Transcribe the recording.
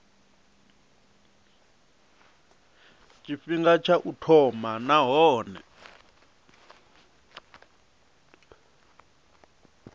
tshifhinga tsha u thoma nahone